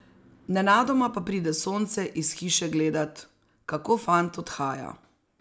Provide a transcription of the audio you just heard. Nenadoma pa pride Sonce iz hiše gledat, kako fant odhaja.